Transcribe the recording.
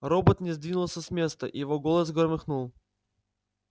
робот не двинулся с места и его голос громыхнул